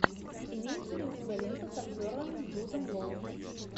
имеется ли у тебя лента с актером джудом лоу